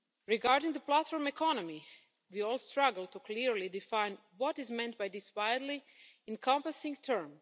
Regarding the platform economy, we all struggle to clearly define what is meant by this widely encompassing term.